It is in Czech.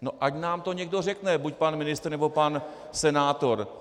No ať nám to někdo řekne, buď pan ministr, nebo pan senátor.